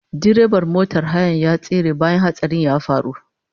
Direban motar hayar ya tsere bayan hatsarin ya faru